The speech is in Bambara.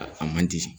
A man di